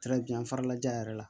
farala ja yɛrɛ la